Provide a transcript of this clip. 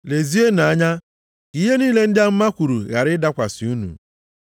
Lezienụ anya ka ihe niile ndị amụma kwuru ghara ịdakwasị unu.